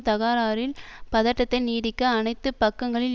தகராறில் பதட்டத்தை நீடிக்க அனைத்து பக்கங்களில்